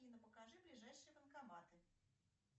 афина покажи ближайшие банкоматы